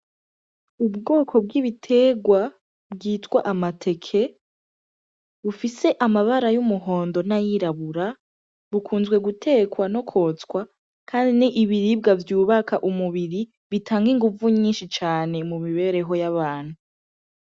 Ubwoko bw'ibitegwa, bwitwa amateke, bufise amabara y'umuhondo n'ayirabura, bukunzwe gutekwa no kwotswa, kandi ni ibiribwa vyubaka umubiri bitanga inguvu nyinshi cane mu mibereho y'abantu.